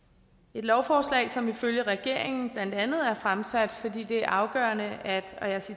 et lovforslag som ifølge regeringen blandt andet er fremsat fordi det er afgørende at